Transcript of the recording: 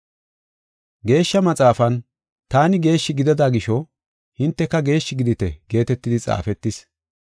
Geeshsha Maxaafan, “Taani geeshshi gidida gisho hinteka geeshshi gidite” geetetidi xaafetis.